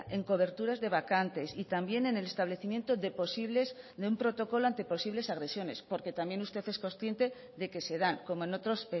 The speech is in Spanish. en coberturas de vacantes y también en el establecimiento de posibles de un protocolo ante posibles agresiones porque también usted es consciente de que se dan como en otros